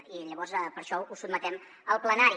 i llavors per això ho sotmetem al plenari